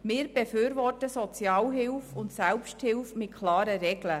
Wir befürworten Sozialhilfe und Selbsthilfe mit klaren Regeln.